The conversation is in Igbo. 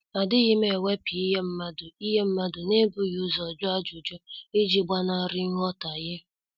Adighim ewepu ihe mmadụ ihe mmadụ n'ebughi ụzọ jụọ ajụjụ, iji gbanari nghotahie